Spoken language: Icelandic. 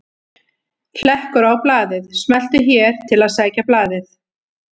Hlekkur á blaðið: Smelltu hér til að sækja blaðið